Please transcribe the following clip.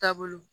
Taabolo